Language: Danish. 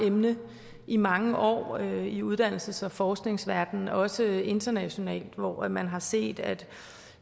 emne i mange år i uddannelses og forskningsverdenen også internationalt hvor hvor man har set at